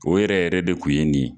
O yɛrɛ yɛrɛ de kun ye nin ye.